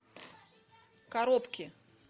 коробки